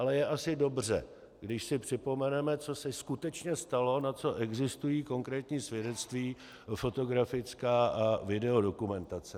Ale je asi dobře, když si připomeneme, co se skutečně stalo, na co existují konkrétní svědectví fotografická a videodokumentace.